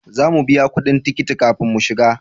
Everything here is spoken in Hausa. Za mu biya kudin tikiti kafin mu shiga